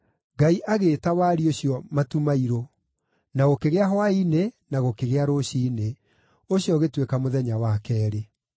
Ngai agĩĩta wariĩ ũcio “matu mairũ.” Na gũkĩgĩa hwaĩ-inĩ na gũkĩgĩa rũciinĩ. Ũcio ũgĩtuĩka mũthenya wa keerĩ.